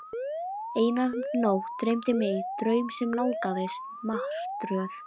Eina nótt dreymdi mig draum sem nálgaðist martröð.